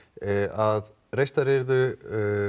að reistar yrðu